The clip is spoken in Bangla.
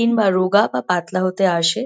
কিংবা রোগা বা পাতলা হতে আসে।